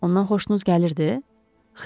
Ondan xoşunuz gəlirdi?